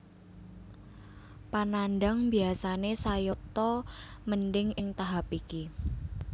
Panandhang biyasane sayata mendhing ing tahap iki